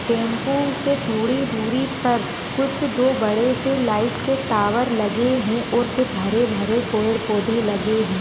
Tempo से थोड़ी दूरी पर कुछ दो बड़े से लाइट के टावर लगे है और कुछ हरे भरे पेड़ पौधे लगे है।